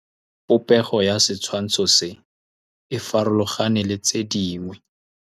Popêgo ya setshwantshô se, e farologane le tse dingwe.